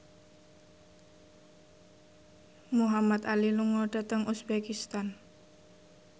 Muhamad Ali lunga dhateng uzbekistan